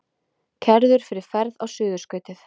Kærður fyrir ferð á Suðurskautið